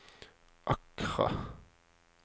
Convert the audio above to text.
Accra